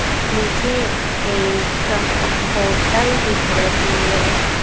मुझे एक होटल दिख रही है।